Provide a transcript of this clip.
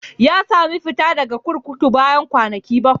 Ya sami fita daga kurkuku bayan kwanaki bakwai.